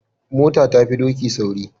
Mota ta fi doki sauri.